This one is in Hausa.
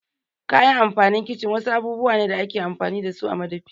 Kayan amfanin kicin wasu abubuwa ne da ake amfani dasu a madafi.